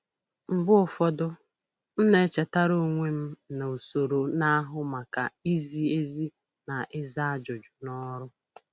Mgbe ụfọdụ, m na-echetara onwe m na usoro na-ahụ maka izi ezi na ịza ajụjụ na ọrụ.